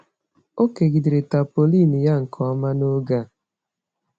O kegidere tapaulin ya nke ọma n'oge a.